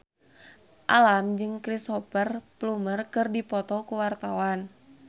Alam jeung Cristhoper Plumer keur dipoto ku wartawan